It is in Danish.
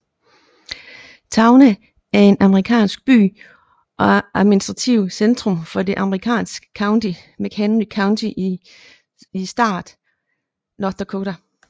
Towner er en amerikansk by og administrativt centrum for det amerikanske county McHenry County i staten North Dakota